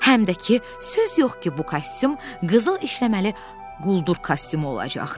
Həm də ki, söz yox ki, bu kostyum qızıl işləməli quldur kostyumu olacaqdı.